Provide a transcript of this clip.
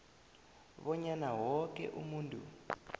bonyana woke umuntu